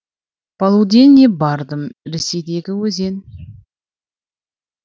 полуденный бардым ресейдегі өзен